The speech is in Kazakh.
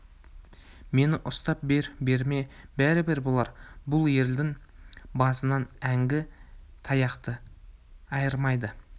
мені ұстап бер берме бәрібір бұлар бұл елдің басынан әңгі таяқты айырмайды